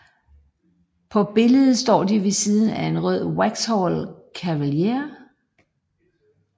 På billedet står de ved siden af en rød Vauxhall Cavalier